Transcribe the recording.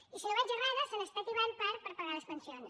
i si no vaig errada se n’està tibant part per pagar les pensions